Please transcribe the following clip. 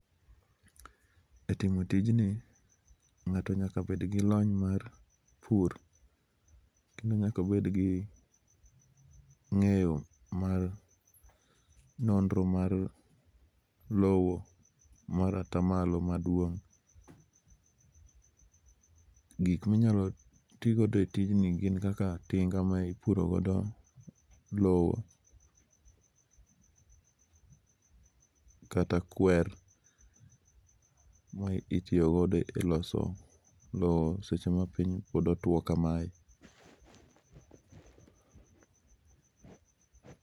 Ee timo tijni ng'ato nyaka bed gi lony mar pur nyaka obed gi ng'eyo mar nondro mar lowo mar atamalo madwong'. Gik minyalo ti godo e tijni gin kaka tinga ma ipuro godo lowo kata kwer ma itiyo go e loso lowo seche ma piny pod otwo kamae.